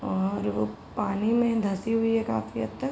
और वो पानी में धंसी हुई है काफी हद तक।